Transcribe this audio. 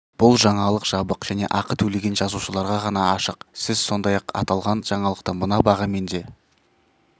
бұл жаңалық жабық және ақы төлеген жазылушыларға ғана ашық сіз сондай-ақ аталған жаңалықты мына бағамен де